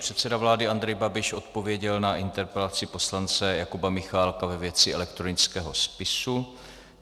Předseda vlády Andrej Babiš odpověděl na interpelaci poslance Jakuba Michálka ve věci elektronického spisu.